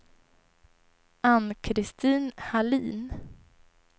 Ann-Christin Hallin